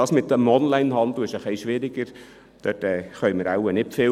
Das mit dem Onlinehandel ist etwas schwieriger, dort können wir wohl nicht viel tun.